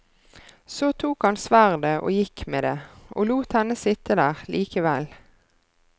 Så tok han sverdet og gikk med det, og lot henne sitte der likevel.